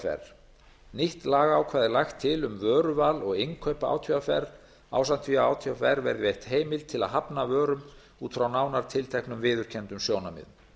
átvr nýtt lagaákvæði er lagt til um vöruval og innkaup átvr ásamt því að átvr verði veitt heimild til að hafna vörum út frá nánar tilteknum viðurkenndum sjónarmiðum